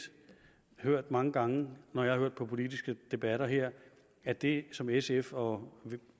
hørt mange gange når jeg har hørt på politiske debatter her at det som sf og